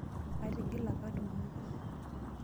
Atigila kat uni .